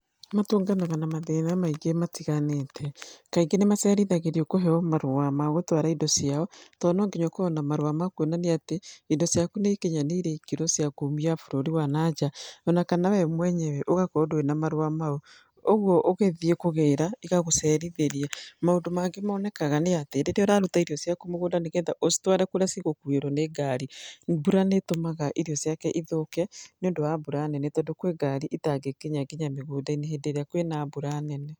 Matũnganaga na mathĩna maingĩ matiganĩte. Kaingĩ nĩ macerithagĩrwo kũheo marũa ma gũtwara indo ciao, tondũ no nginya ũkorwo na marũa ma kuonania atĩ indo ciaku nĩ ikinyanĩire ikĩro cia kuumia bũrũri wa nanja. Ona kana we mwenyewe ũgakorwo ndũrĩ na marũa mau, ũguo ũgĩthiĩ kũgĩra igagũcerithĩria. Maũndũ mangĩ monekaga nĩ atĩ rĩrĩa ũraruta irio ciaku mũgũnda nĩ getha ũcitware kũrĩa cigũkuĩrwo nĩ ngari, mbura nĩ ĩtũmaga irio ciake ithũke nĩ ũndũ wa mbura nene tondũ kwĩ ngari itangĩkinya nginya mũgũnda-inĩ hĩndĩ ĩrĩa kwĩna mbura nene.